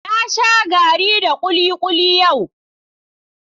Na sha garri da kulikuli yau.